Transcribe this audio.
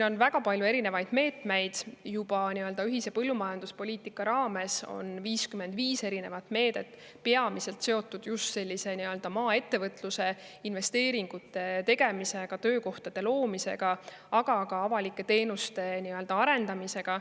On väga palju erinevaid meetmeid, juba ühise põllumajanduspoliitika raames on 55 eri meedet, mis on peamiselt seotud just maaettevõtluse investeeringute tegemisega, töökohtade loomisega, aga ka avalike teenuste arendamisega.